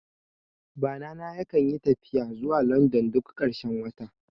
Bana na yakan yi tafiya zuwa London duk ƙarshen wata